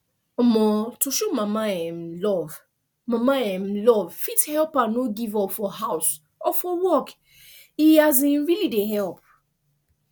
um to show mama um love mama um love fit help her no give up for house or for work e um really dey help